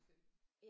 Selv